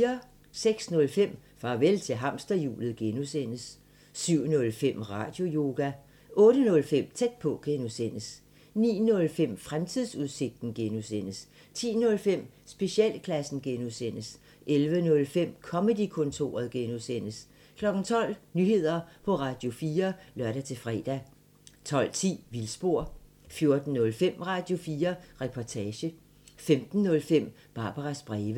06:05: Farvel til hamsterhjulet (G) 07:05: Radioyoga 08:05: Tæt på (G) 09:05: Fremtidsudsigten (G) 10:05: Specialklassen (G) 11:05: Comedy-kontoret (G) 12:00: Nyheder på Radio4 (lør-fre) 12:10: Vildspor 14:05: Radio4 Reportage 15:05: Barbaras breve